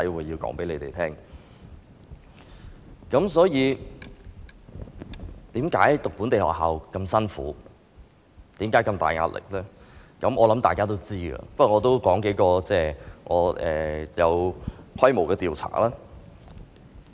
我想大家知道為何讀本地學校那麼辛苦，有那麼大壓力，但我也想提及數個有規模的調查。